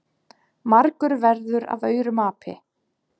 margur verður af aurum api.